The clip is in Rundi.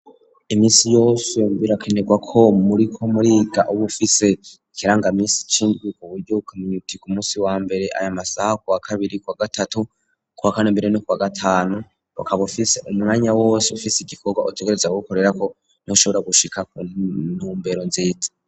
iminsi yose birakenerwa ko muri ko muriga uba bufise ikirangamisi cuko buryo ukameny uti ku musi wa mbere aya masaha ku wa kabiri kwa gatatu kuwa kane mbere no kwa gatanu akaba ufise umwanya wose ufise igikobwa utegerezwa kugikorera ko niho ushobora gushika kuntumbero nziza.